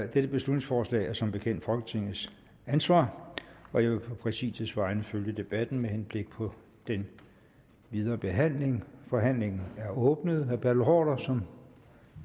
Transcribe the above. dette beslutningsforslag er som bekendt folketingets ansvar og jeg vil på præsidiets vegne følge debatten med henblik på den videre behandling forhandlingen er åbnet herre bertel haarder som